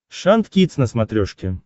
шант кидс на смотрешке